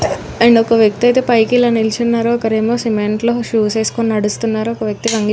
హా అలద వక్తి ఏఇతి పైకి నిలోచోనాడు వక అతను షో వేసోకోనాడు.